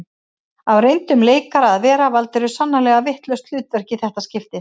Af reyndum leikara að vera valdirðu sannarlega vitlaust hlutverk í þetta skiptið